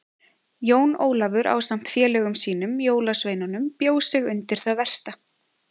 Jón Ólafur ásamt félögum sínum jólasveinunum bjó sig undir það versta.